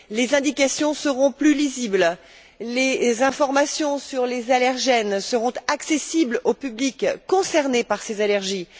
Les indications seront plus lisibles et les informations sur les allergènes seront accessibles au public concerné par ces allergies.